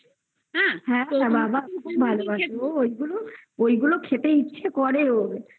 আচ্ছা বাবা খুব ভালোবাসে ও ঐগুলো খেতে ইচ্ছে করে ওর আমি